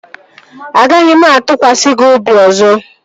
Agaghị m atụkwasị gị obi ọzọ